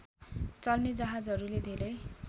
चल्ने जहाजहरूले धेरै